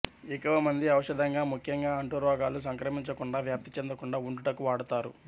ఎక్కువ మంది ఔషధంగా ముఖ్యంగా అంటు రోగాలు సంక్రమించకుండావ్యాప్తి చెందకుండా వుండుటకు వాడతారు